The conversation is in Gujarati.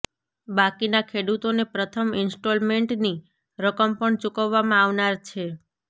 બાકીના ખેડૂતોને પ્રથમ ઇન્સ્ટોલમેન્ટની રકમ પણ ચુકવવામાં આવનાર છે